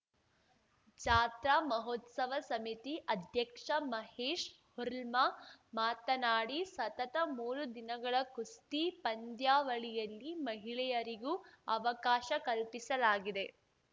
ಜಾತ್ರಾ ಮಹೋತ್ಸವ ಸಮಿತಿ ಅಧ್ಯಕ್ಷ ಮಹೇಶ್‌ ಹುರ್ಲ್ಮಾ ಮಾತನಾಡಿ ಸತತ ಮೂರು ದಿನಗಳ ಕುಸ್ತಿ ಪಂದ್ಯಾವಳಿಯಲ್ಲಿ ಮಹಿಳೆಯರಿಗೂ ಅವಕಾಶ ಕಲ್ಪಿಸಲಾಗಿದೆ